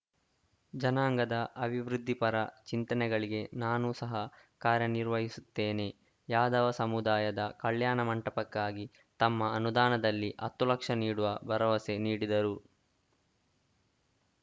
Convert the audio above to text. ಜನಾಂಗದ ಅಭಿವೃದ್ಧಿಪರ ಚಿಂತನೆಗಳಿಗೆ ನಾನು ಸಹ ಕಾರ್ಯನಿರ್ವಹಿಸುತ್ತೇನೆ ಯಾದವ ಸಮುದಾಯದ ಕಲ್ಯಾಣ ಮಂಟಪಕ್ಕಾಗಿ ತಮ್ಮ ಅನುದಾನದಲ್ಲಿ ಹತ್ತು ಲಕ್ಷ ನೀಡುವ ಭರವಸೆ ನೀಡಿದರು